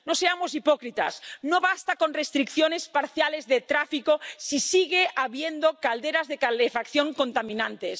No seamos hipócritas, no basta con restricciones parciales de tráfico si sigue habiendo calderas de calefacción contaminantes.